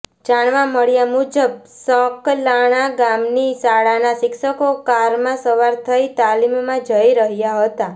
જાણવા મળ્યા મુજબ સકલાણા ગામની શાળાના શિક્ષકો કારમાં સવાર થઇ તાલીમમાં જઈ રહ્યા હતા